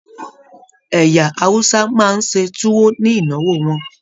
Ẹyà Hausa máa n se tuwo ni ìnáwó wọn.